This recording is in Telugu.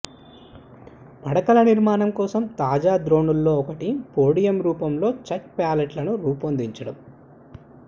పడకల నిర్మాణం కోసం తాజా ధోరణుల్లో ఒకటి పోడియం రూపంలో చెక్క ప్యాలెట్లను రూపొందించడం